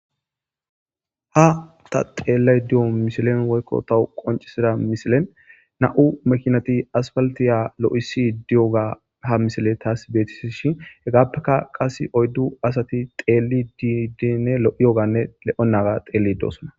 Ha ta xeellay diyo misilen woykko tawu qoncisida misilen na'u mekinati asfaltiya lo'isi di'oga ha misile taas beeti shi hegaappeka qas oyddu asati xeeli diidinne lo'iyoganne le'onnaga xeelli dosona.